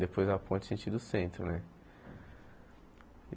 Depois da ponte, sentido centro, né?